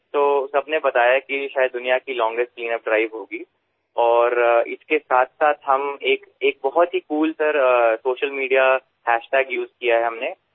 সকলোৱে কৈছে যে এয়া বোধহয় বিশ্বৰ সবাতোকৈ দীৰ্ঘতম পৰিষ্কাৰ অভিযান হিচাপে বিবেচিত হব আৰু ইয়াৰ সৈতে আমি এক কুল ছচিয়েল মিডিয়া হেশ্বটেগ ব্যৱহাৰ কৰিছো